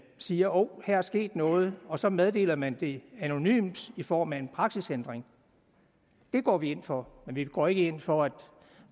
siger hov her er sket noget og så meddeler man det anonymt i form af en praksisændring det går vi ind for men vi går ikke ind for at